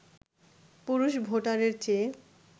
পুরুষ ভোটারের চেয়ে